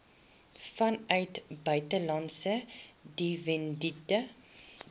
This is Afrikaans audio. vanuit buitelandse dividende